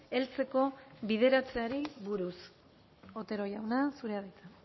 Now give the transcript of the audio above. heltzeko bideratzeari buruz otero jauna zura da hitza